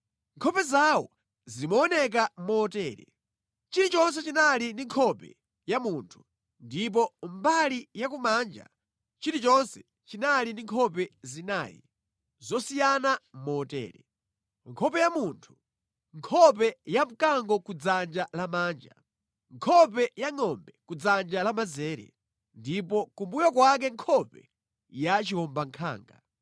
Nkhope zawo zimaoneka motere: Chilichonse chinali ndi nkhope ya munthu, ndipo mbali ya kumanja chilichonse chinali ndi nkhope zinayi zosiyana motere: nkhope ya munthu, nkhope ya mkango ku dzanja lamanja, nkhope ya ngʼombe ku dzanja lamanzere, ndipo kumbuyo kwake nkhope ya chiwombankhanga.